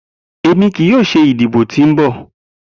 Emi kii yoo ṣe idibo ti nbọ.